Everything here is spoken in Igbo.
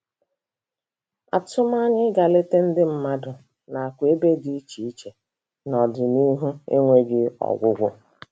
Atụmanya ịga leta ndị mmadụ nakwa ebe dị iche iche n'ọdịnihu enweghị ọgwụgwụ